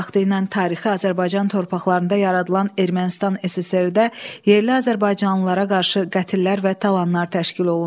Vaxtilə tarixi Azərbaycan torpaqlarında yaradılan Ermənistan SSR-də yerli azərbaycanlılara qarşı qətllər və talanlar təşkil olundu.